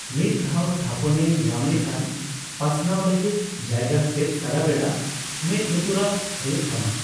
ᱢᱤᱫ ᱫᱷᱟᱣ ᱛᱷᱟᱯᱚᱱᱮ ᱧᱟᱢ ᱞᱮᱠᱷᱟᱱᱹ ᱯᱟᱥᱱᱟᱣ ᱞᱟᱹᱜᱤᱫ ᱡᱟᱭᱜᱟ ᱥᱮᱫ ᱥᱟᱨᱟ ᱵᱮᱲᱟ ᱢᱮᱫ ᱞᱩᱛᱩᱨᱟᱜ ᱦᱳᱭᱳᱜᱼᱛᱟᱢᱟ ᱾